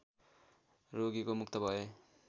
रोगीको मुक्त भए